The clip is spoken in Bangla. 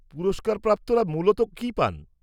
-পুরস্কারপ্রাপ্তরা মূলত কী পান?